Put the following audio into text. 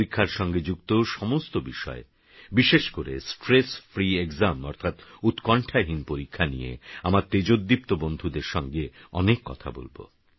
পরীক্ষারসঙ্গেযুক্তসমস্তবিষয় বিশেষকরে stress free Examঅর্থাৎউৎকণ্ঠাহীনপরীক্ষানিয়েআমারতেজোদীপ্তবন্ধুদেরসঙ্গেঅনেককথাবলব